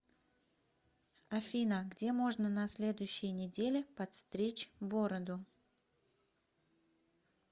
афина где можно на следующей неделе подстричь бороду